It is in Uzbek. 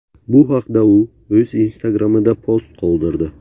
Bu haqda u o‘z Instagram’ida post qoldirdi .